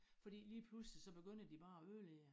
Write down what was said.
Fordi lige pludselig så beynder de bare at ødelægge